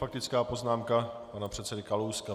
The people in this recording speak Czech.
Faktická poznámka pana předsedy Kalouska.